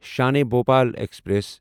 Shan-e Bhopal express